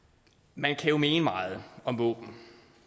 man kan jo mene meget om våben